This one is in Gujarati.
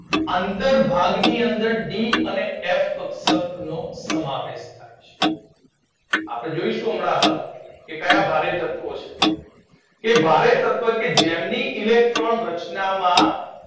ની અંત ભાગની અંદર ડી અને એફ તત્વો સમાવેશ થાય છે. આપડે જોઈશું હમણાં હાલ કે ક્યાં ભારે તત્વો કે જે ભારે તત્વો જેમની ઇલેક્ટ્રોન ની રચનામાં